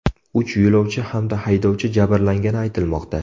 Uch yo‘lovchi hamda haydovchi jabrlangani aytilmoqda.